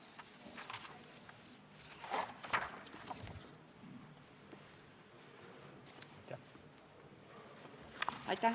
Aitäh!